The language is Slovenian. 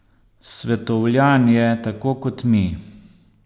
Svetovljan je, tako kot mi.